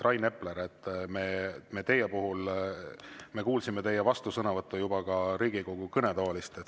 Rain Epler, me juba kuulsime teie vastusõnavõttu Riigikogu kõnetoolist.